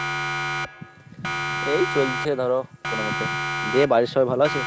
এই চলছে ধর কোনমতে। দে বাড়ির সবাই ভালো আছে?